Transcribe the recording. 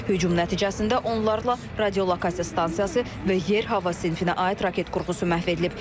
Hücum nəticəsində onlarla radiolokasiya stansiyası və yer-hava sinfinə aid raket qurğusu məhv edilib.